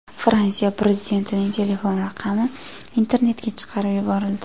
Fransiya prezidentining telefon raqami internetga chiqarib yuborildi.